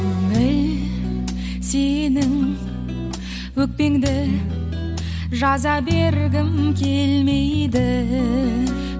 көңіл сенің өкпеңді жаза бергім келмейді